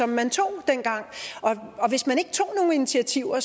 man tog dengang og hvis man ikke tog nogen initiativer